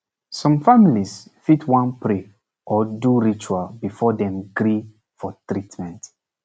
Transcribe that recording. some families fit wan pray or do ritual before dem gree for treatment